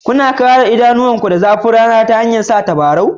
Kuna kare idanunku daga zafin rana ta hanyar sanya tabarau?